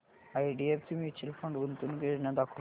IDFC mutual fund गुंतवणूक योजना दाखव